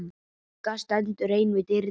Bogga stendur ein við dyrnar.